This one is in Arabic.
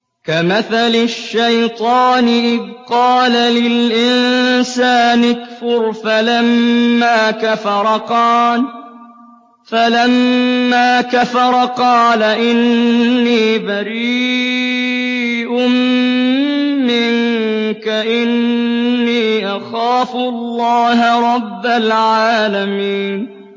كَمَثَلِ الشَّيْطَانِ إِذْ قَالَ لِلْإِنسَانِ اكْفُرْ فَلَمَّا كَفَرَ قَالَ إِنِّي بَرِيءٌ مِّنكَ إِنِّي أَخَافُ اللَّهَ رَبَّ الْعَالَمِينَ